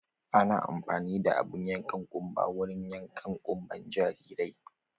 Ana amfani da abun yankan ƙunba wurin yanka ƙunban jarirai.